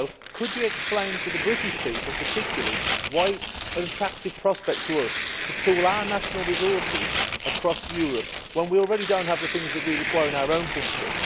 Could you also explain to the British people particularly why it is an attractive prospect to us to pool our national resources across Europe when we already do not have the things we require in our own country?